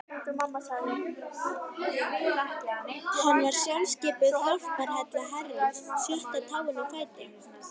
Hann var sjálfskipuð hjálparhella Herrans, sjötta táin á fæti